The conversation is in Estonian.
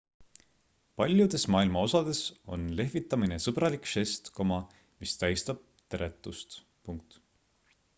paljudes maailma osades on lehvitamine sõbralik žest mis tähistab teretust